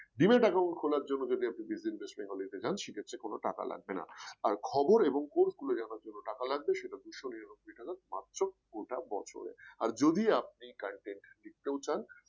Demat account খোলার জন্য যদি এখন আপনি Digit Invest Bengali তে যান সে ক্ষেত্রে কোন টাকা লাগবে না আর খবর এবং course গুলো জানার জন্য টাকা লাগবে সেটা দুইশ নিরানব্বই টাকা মাত্র গোটা বছরের আর যদি আপনি content লিখতেও চান